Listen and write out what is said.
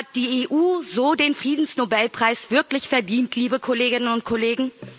Hat die EU so den Friedensnobelpreis wirklich verdient, liebe Kolleginnen und Kollegen?